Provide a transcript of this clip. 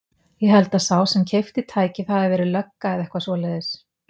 Ég held að sá sem keypti tækið hafi verið lögga eða eitthvað svoleiðis.